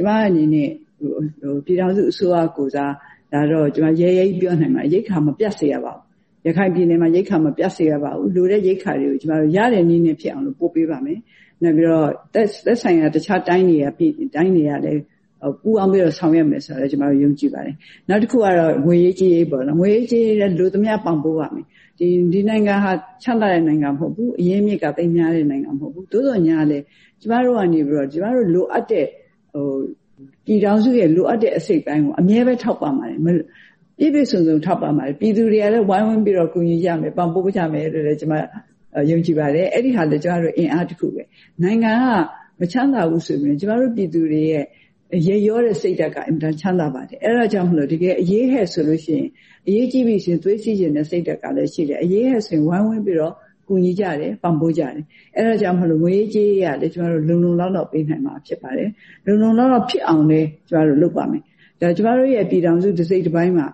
ကျမအနေနဲ့ ပြည်ထောင်စုအစိုးရကိုယ်စား ဒါတော့ ကျမရဲရဲကြီးပြောနိုင်ပါတယ်။ ရိက္ခာမပြတ်စေရပါဘူး။ ရခိုင်ပြည်နယ်မှာ ရိက္ခာမပြတ်စေရပါဘူး။ လိုတဲ့ရိက္ခာတွေကို ကျမတို့ရတဲ့နည်းနဲ့ဖြစ်အောင်လို့ ပို့ပေးပါမယ်။ နောက်ပြီးတော့ သက်ဆိုင်ရာတခြားတိုင်းတွေကလည်း ပူးပေါင်းပြီးတော့ ဆောင်ရွက်မယ်ဆိုတာလည်း ယုံကြည်ပါတယ်။ နောက်တခုကတော့ ငွေရေးကြေးရေးပေါ့နော်။ ငွေရေးကြေးရေးလည်း လိုသမျှပံ့ပိုးပါ့မယ်။ ဒီနိုင်ငံဟာ ချမ်းသာတဲ့နိုင်ငံမဟုတ်ဘူး။ အရင်းအမြစ်က သိပ်များတဲ့နိုင်ငံမဟုတ်ဘူး။ သို့သော်ငြားလည်း ကျမတို့ကနေပြီးတော့ ပြည်ထောင်စုရဲ့လိုအပ်တဲ့ အစိတ်အပိုင်းကို အမြဲပဲထောက်ပံ့ပါတယ်။ ပြည့်ပြည့်စုံစုံထောက်ပံ့ပါတယ်။ ပြည်သူတွေကလည်း ဝိုင်းဝန်းပြီးတော့ ကူညီကြမယ် ပံ့ပိုးကြမယ်လို့ ကျမယုံကြည်ပါတယ်။ အဲဒီဟာလည်း ကျမတို့အင်အားတခုပဲ။ နိုင်ငံကမချမ်းသာဘူးဆိုပေမဲ့ ကျမတို့ပြည်သူတွေရဲ့ ရက်ရောတဲ့စိတ်ဓာတ်က အင်မတန်ချမ်းသာပါတယ်။ အဲဒါကြောင့်မို့လို့ တကယ်အရေးဟဲ့ဆိုရင် အရေးကြီးပြီဆိုရင် သွေးစည်းချင်တဲ့စိတ်ဓာတ်ကလည်းရှိတယ်။ အရေးဟဲ့ဆိုရင် ဝိုင်းဝန်းပြီးတော့ ကူညီကြတယ် ပံ့ပိုးကြတယ်။ အဲဒါကြောင့်မို့လို့ ငွေရေးကြေးရေးကလည်း ကျမတို့လုံလုံလောက်လောက် ပေးနိုင်မှာဖြစ်ပါတယ်။ လုံလုံလောက်လောက်ဖြစ်အောင်လည်း ကျမတို့လုပ်ပါ့မယ်။ ဒါကျမတို့ရဲ့ ပြည်ထောင်စုတစိတ်တပိုင်းမှာ